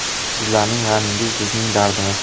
Sizlarning g‘amingiz bizning dardimiz.